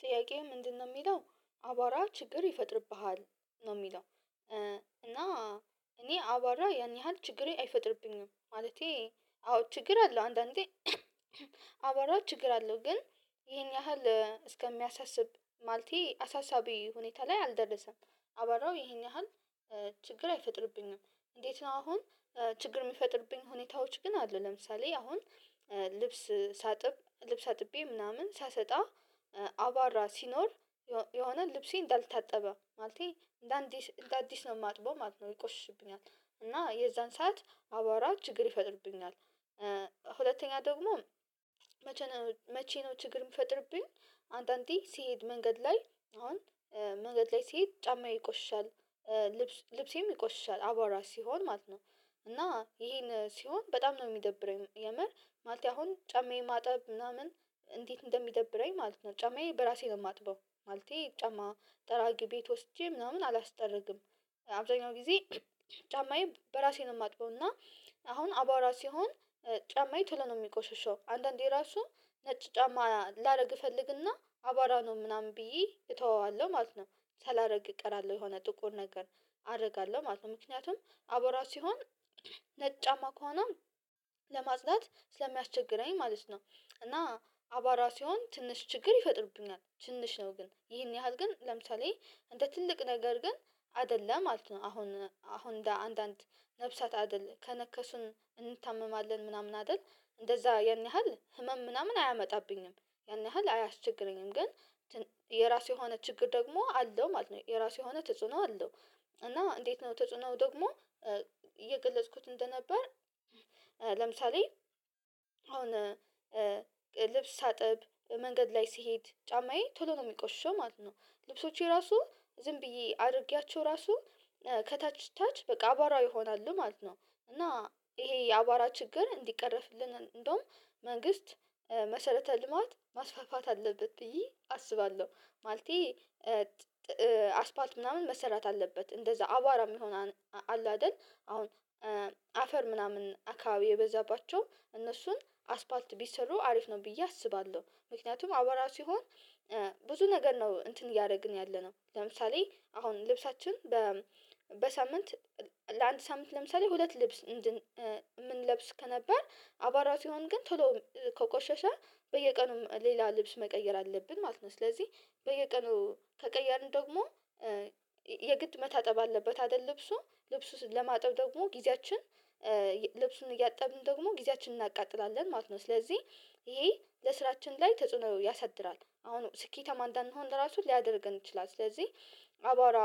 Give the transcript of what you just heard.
ጥያቄው ምንድነው የሚለው አቧራ ችግር ይፈጥርብሃል ነው የሚለው እና እኔ አቧራ ያን ያህል ችግሬ አይፈጥርብኝም ማለቴ አዎ ችግር አለው አንዳንዴ አባራው ችግር አለው ግን ይሄን ያህል እስከሚያሳስብ ማለቴ አሳሳቢ ሁኔታ ላይ አልደረሰም አቧራው ይሄን ያህል ችግር አይፈጥርብኝም እንዴት ነው አሁን ችግር የሚፈጥርብኝ ሁኔታዎች ግን አሉ ለምሳሌ አሁን ልብስ ሳጥብ ልብስ አጥቤ ምናምን ሳሰጣ አቧራ ሲኖር የሆነ ልብሴ እንዳልታጠበ ማለቴ እንደ አዲስ ነው የማጥበው ማለት ነው ይቆሽሽብኛል እና የዛን ሰዓት አቧራ ችግር ይፈጥርብኛል ሁለተኛ ደግሞ መቸ መቼ ነው ችግር የምፈጥርብኝ አንዳንዴ ስሄድ መንገድ ላይ አሁን መንገድ ላይ ስሄድ ጫማዬ ይቆሽሻል፤ ልብስ ልብሴም ይቆሽሻል አቧራ ሲሆን ማለት ነው እና ይሄን ሲሆን በጣም ነው የሚደብረኝ የምር ማለቴ አሁን ጫማዬ ማጠብ ምናምን እንዴት እንደሚደብረኝ ማለት ነው ጫማዬ በራሴ ነው የማጥበው ማለቴ ጫማ ጠራጊ ቤት ወስጄ ምናምን አላስጠርግም አብዛኛው ጊዜ ጫማዬን በራሴ ነው የማጥበው እና አሁን አባውራ ሲሆን ጫማዬ ቶሎ ነው የሚቆሽሸው አንዳንዴ ራሱ ነጭ ጫማ ላደርግ እፈልግና አቧራ ነው ምናምን ብዬ እተወዋለሁ ማለት ነው ሳላደርግ እቀራለሁ የሆነ ጥቁር ነገር አደርጋለሁ ማለት ነው ምክንያቱም አቧራ ሲሆን ማኳን ለማጽዳት ስለሚያስቸግረኝ ማለት ነው እና አቧራ ሲሆን ትንሽ ችግር ይፈጥሩብኛል ትንሽ ነው ግን ይሄን ያህል ግን ለምሳሌ እንደ ትልቅ ነገር ግን አይደለም ማለት ነው አሁን አሁን እንደ አንዳንድ ነፍሳት አይደለም ከነከሱን እንታመማለን ምናምን አይደል እንደዛ ያን ያህል ህመም ምናምን አያመጣብኝም ያን ያህል አያስቸግረኝም ግን የራሱ የሆነ ችግር ደግሞ አለው ማለት ነው የራሱ የሆነ ተጽዕኖ አለው እና እንዴት ነው ተጽዕኖ ደግሞ እየገለጽኩት እንደነበር ለምሳሌ አሁን ልብስ ሳጥብ መንገድ ላይ ስሄድ ጫማዬ ቶሎ ነው የሚቆሽሸው ማለት ነው ልብሶቼ ራሱ ዝም ብዬ አድርጌያቸው ራሱ ከታች ታች በቃ አቧራ ይሆናሉ ማለት ነው እና ይሄ የአቧራ ችግር እንዲቀረፍልን እንደውም መንግስት መሰረተ ልማት ማስፋፋት አለበት ብዬ አስባለሁ ማለቴ አስፓልት ምናምን መሰራት አለበት እንደዛ አቧራ የሚሆን አለ አይደል አሁን አፈር ምናምን አካባቢ የበዛባቸው እነሱን አስፋልት ቢሰሩ አሪፍ ነው ብዬ አስባለሁ ምክንያቱም አቧራ ሲሆን ብዙ ነገር ነው እንትን እያደረግን ያለነው ለምሳሌ አሁን ልብሳችን በሳምንት ለአንድ ሳምንት ለምሳሌ ሁለት ልብስ የምንለብስ ከነበር አቧራ ሲሆን ግን ቶሎ ከቆሸሸ በየቀኑም ሌላ ልብስ መቀየር አለብን ማለት ነው ስለዚህ በየቀኑ ከቀየርን ደግሞ የግድ መታጠብ አለበት አይደል ልብሱ ልብሱን ለማጠብ ደግሞ ጊዜያችን ልብሱን እያጠብን ደግሞ ጊዜያችንን እናቃጥላለን ማለት ነው ስለዚህ ይሄ ለስራችን ላይ ተጽዕኖ ያሳድራል አሁን ስኬታማ እንዳንሆን ራሱ ሊያደርገን ይችላል ስለዚህ አቧራ